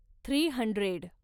three hundred